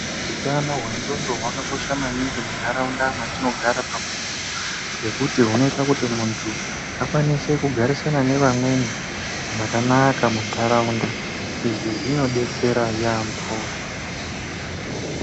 Utano hwendxondo hwakakosha maningi munharaunda mwatinogara pamuntu. Ngekuti hunoita muntu akwanise kugarisana nevamweni zvakanaka munharaunda. Izvi zvinodetsera yaamho.